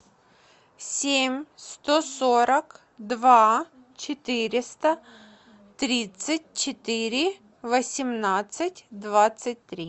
семь сто сорок два четыреста тридцать четыре восемнадцать двадцать три